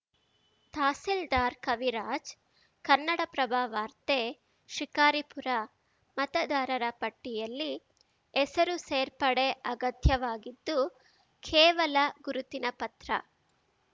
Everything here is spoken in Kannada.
ತಹಸೀಲ್ದಾರ್‌ ಕವಿರಾಜ್‌ ಕನ್ನಡಪ್ರಭ ವಾರ್ತೆ ಶಿಕಾರಿಪುರ ಮತದಾರರ ಪಟ್ಟಿಯಲ್ಲಿ ಹೆಸರು ಸೇರ್ಪಡೆ ಅಗತ್ಯವಾಗಿದ್ದು ಕೇವಲ ಗುರುತಿನ ಪತ್ರ